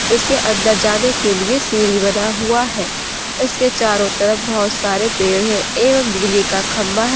इसके अंदर जाने के लिए सीढ़ी बना हुआ है इसके चारों तरफ बहोत सारे पेड़ हैं एवं बिजली का खंभा है।